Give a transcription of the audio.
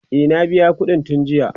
e na biya ƙuɗin tun jiya